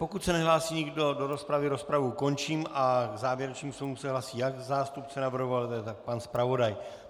Pokud se nehlásí nikdo do rozpravy, rozpravu končím a k závěrečným slovům se hlásí jak zástupce navrhovatele, tak pan zpravodaj.